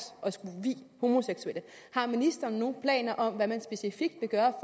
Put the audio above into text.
at skulle vie homoseksuelle har ministeren nogen planer om hvad man specifikt vil gøre